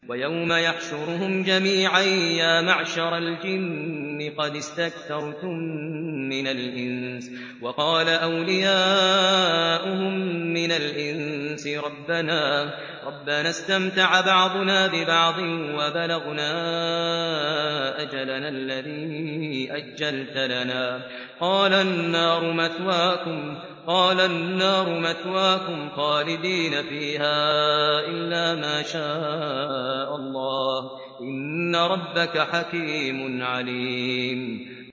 وَيَوْمَ يَحْشُرُهُمْ جَمِيعًا يَا مَعْشَرَ الْجِنِّ قَدِ اسْتَكْثَرْتُم مِّنَ الْإِنسِ ۖ وَقَالَ أَوْلِيَاؤُهُم مِّنَ الْإِنسِ رَبَّنَا اسْتَمْتَعَ بَعْضُنَا بِبَعْضٍ وَبَلَغْنَا أَجَلَنَا الَّذِي أَجَّلْتَ لَنَا ۚ قَالَ النَّارُ مَثْوَاكُمْ خَالِدِينَ فِيهَا إِلَّا مَا شَاءَ اللَّهُ ۗ إِنَّ رَبَّكَ حَكِيمٌ عَلِيمٌ